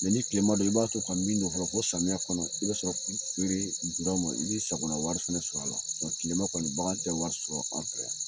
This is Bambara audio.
ni kilema dɔ i b'a to ka min nɔ bɔ, ko samiya kɔnɔ, i bɛ sɔrɔ i be dama, i bi sagona wari fɛnɛ sɔrɔ a la, kilema kɔni bagan tɛ wari sɔrɔ an fɛ yan.